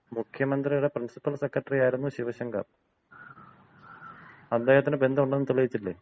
മുഖ്യമന്ത്രിയുടെ principal secretary ആയിരുന്നു ശിവശങ്കർ. അദ്ദേഹത്തിന്‍റെ ബന്ധം ഉണ്ടെന്ന് തെളിയിച്ചില്ലേ?